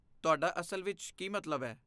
ਤੁਹਾਡਾ ਅਸਲ ਵਿੱਚ ਕੀ ਮਤਲਬ ਹੈ?